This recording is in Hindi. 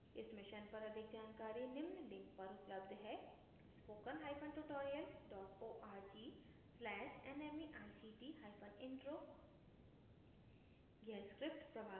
इस मिशन पर अधिक जानकारी निम्न लिंक पर उपलब्ध है spokentutorialorg/nmeictintro